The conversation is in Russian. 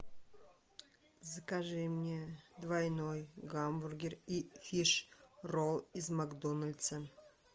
закажи мне двойной гамбургер и фиш ролл из макдональдса